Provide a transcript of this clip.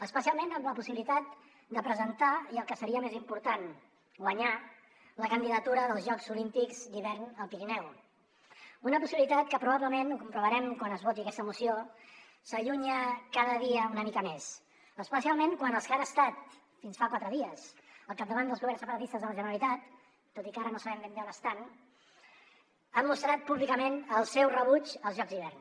especialment amb la possibilitat de presentar i el que seria més important guanyar la candidatura dels jocs olímpics d’hivern al pirineu una possibilitat que probablement ho comprovarem quan es voti aquesta moció s’allunya cada dia una mica més especialment quan els que han estat fins fa quatre dies al capdavant dels governs separatistes de la generalitat tot i que ara no sabem ben bé on estan han mostrat públicament el seu rebuig als jocs d’hivern